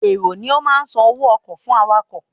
Èrò ni ó ma san owó ọkọ̀ fún awakọ̀